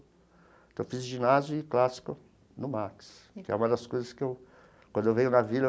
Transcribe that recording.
Então, fiz ginásio e clássico no Max, que é uma das coisas que, quando eu venho na Vila,